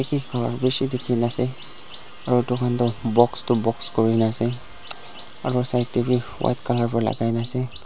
ekha bishi dekhi na ase aro toi khan to box tu box kori na ase aro side te bi white colour para lagai kena ase.